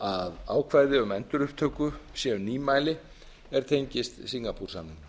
að ákvæði um endurupptöku séu nýmæli er tengist singapoore samningnum